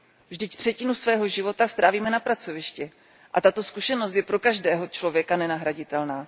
Vždyť třetinu svého života strávíme na pracovišti a tato zkušenost je pro každého člověka nenahraditelná.